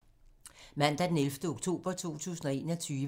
Mandag d. 11. oktober 2021